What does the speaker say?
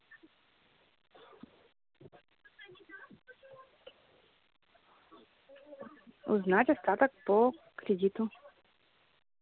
узнать остаток по кредиту